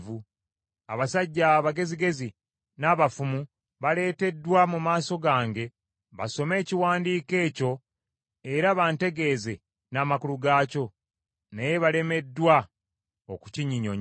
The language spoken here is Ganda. Abasajja abagezigezi, n’abafumu baaleeteddwa mu maaso gange basome ekiwandiiko ekyo era bantegeeze n’amakulu gaakyo, naye balemeddwa okukinnyonnyola.